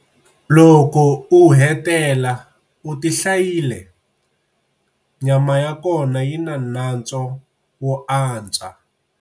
Loko u hetela u ti hlayile, nyama ya kona yi na nantswo wo antswa.